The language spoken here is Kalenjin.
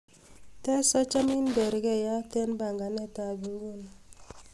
tes achomin bergeiyat en panganet ab inguni